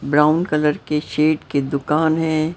Brown colour के shade के दुकान है।